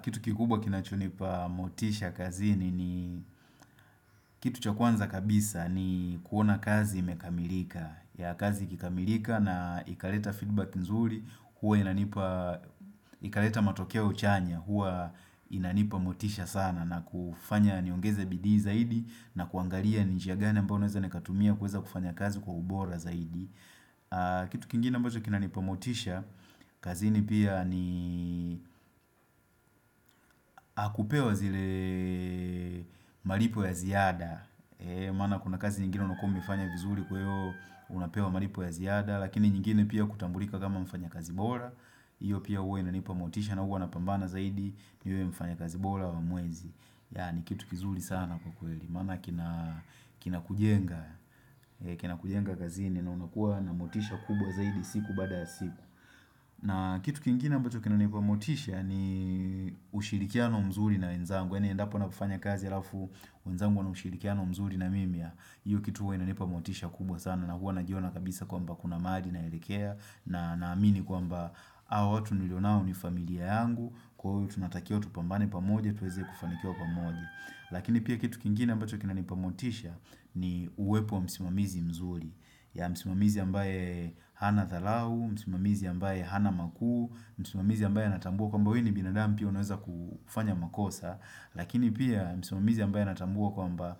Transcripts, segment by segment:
Kitu kikubwa kinachonipa motisha kazi ni ni kitu chakuanza kabisa ni kuona kazi imkamirika. Ya kazi ikikamirika na ikaleta feedback nzuri huwa inanipa ikaleta matokeo chanya huwa inanipa motisha sana na kufanya niongeze bidi zaidi na kuangaria njiagani ambao naweza nikatumia kuweza kufanya kazi kwa ubora zaidi. Kitu kingine ambacho kina nipamotisha kazini pia ni Akupewa zile malipo ya ziada maana kuna kazi nyingine unakua umeifanya vizuri kweo Unapewa malipo ya ziada Lakini nyingine pia kutambulika kama mfanya kazi bora Iyo pia uwe inanipamotisha na uwe na pambana zaidi niwe mfanya kazi bora wa mwezi Yani kitu kizuri sana kukweli Mana kina kujenga kina kujenga kazini na unakua namotisha kubwa zaidi siku baada ya siku na kitu kingina ambacho kina nipamotisha ni ushirikiano mzuri na nwenzangu Eni endapo napofanya kazi alafu wenzangu wanamushirikiano mzuri na mimi ya hiyo kituwa nipamotisha kubwa sana na huwa najiona kabisa kwa mba kuna mahali naelekea na amini kwa mba Hawatu nilonao ni familia yangu Kwa huyu tunatakio tupambane pamoja tuweze kufanikio pamoje Lakini pia kitu kingina mbacho kina nipamotisha ni uwepo msimamizi mzuri ya msimamizi ambaye hana thalau, msimamizi ambaye hana makuu, msimamizi ambaye natambua kwa mba huyu ni binadamu pia unaweza kufanya makosa, lakini pia msimamizi ambaye natambua kwa mba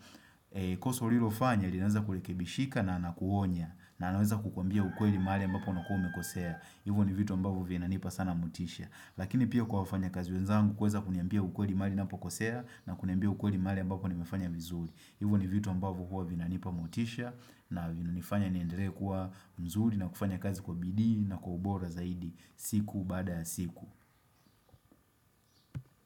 Koso rilo fanya, rinanza Kurekebishika na anakuonya na anaweza kukwambia ukweli maali ambapo Nakua umekosea, hivyo ni vitu ambavyo Vinanipa sana mutisha, lakini pia Kwa wafanya kazi wenzangu, kuweza kuniambia ukweli Maali napo kosea, na kuniambia ukweli Maali ambapo nimefanya vizuri, hivyo ni vitu ambavo huwa vinanipa motisha na vina nifanya niendere kwa mzuri na kufanya kazi kwa bidi na kwa ubora zaidi siku baada siku.